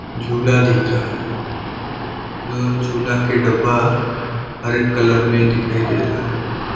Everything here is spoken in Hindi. झूला दिख रहा है जो झूला के डब्बा हर एक कलर में दिखाई दे रहा है।